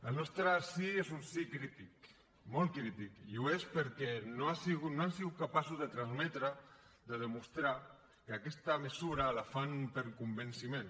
el nostre sí és un sí crític molt crític i ho és perquè no han sigut capaços de transmetre de demostrar que aquesta mesura la fan per convenciment